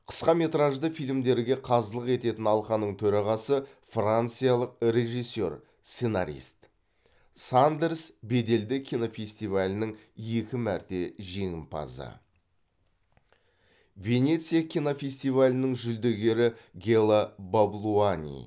қысқаметражды фильмдерге қазылық ететін алқаның төрағасы франциялық режиссер сценарист сандерс беделді кинофестивалінің екі мәрте жеңімпазы венеция кинофестивалінің жүлдегері гела баблуани